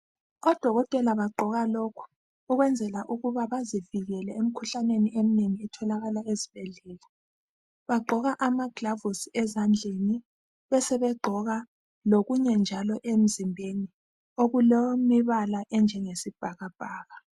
Odokotela bagqoka lokhu ukwenzela ukuba bazivikele emkhuhlaneni emnengi etholakala ezibhedlela, bagqoka amagilavusi ezandleni besebegqoka lokunye njalo emzimbeni okulemibala enjenge sibhakabhaka.